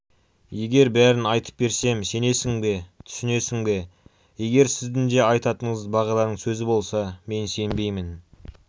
егер бәрін айтып берсем сенесің бе түсінесің бе егер сіздің де айтатыныңыз бағиланың сөзі болса мен сенбеймін